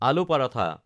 আলু পাৰাঠা